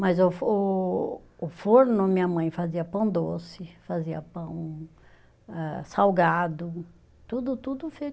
Mas o o o forno, minha mãe fazia pão doce, fazia pão ah salgado, tudo tudo feito